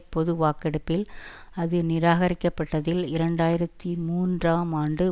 பொதுவாக்கெடுப்பில் அது நிராகரிக்கப்பட்டதில் இரண்டு ஆயிரத்தி மூன்றாம் ஆண்டு